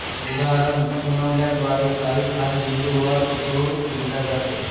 उदाहरण खुणवल्याद्वारे काही खास बिंदु वर जोर दिला जातो